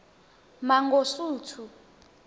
mangosuthu